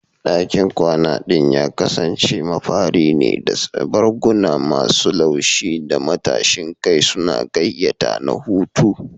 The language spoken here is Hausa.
Dakin kwana ɗin ya kasance mafari ne, da barguna masu laushi da matashin kai suna gayyata na huta.